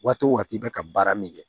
Waati o waati bɛ ka baara min kɛ